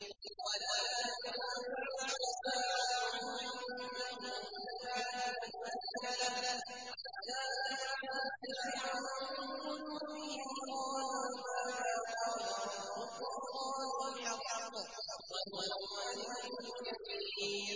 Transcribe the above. وَلَا تَنفَعُ الشَّفَاعَةُ عِندَهُ إِلَّا لِمَنْ أَذِنَ لَهُ ۚ حَتَّىٰ إِذَا فُزِّعَ عَن قُلُوبِهِمْ قَالُوا مَاذَا قَالَ رَبُّكُمْ ۖ قَالُوا الْحَقَّ ۖ وَهُوَ الْعَلِيُّ الْكَبِيرُ